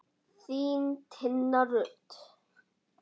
Þín, Tinna Rut.